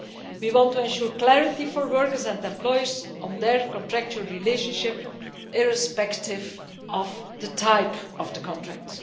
We want to ensure clarity for workers and employers on their contractual relationship, irrespective of the type of the contract.